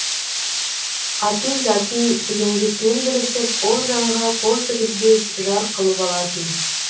атын затын женгесінен білісіп ол жанға қол тігізбес жар қылып алатын